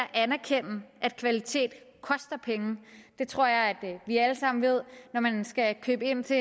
anerkende at kvalitet koster penge det tror jeg at vi alle sammen ved når man skal købe ind til